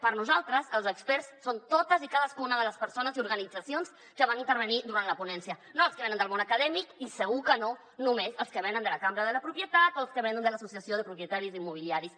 per nosaltres els experts són totes i cadascuna de les persones i organitzacions que van intervenir durant la ponència no els que venen del món acadèmic i segur que no només els que venen de la cambra de la propietat o els que venen de les associacions de propietaris immobiliaris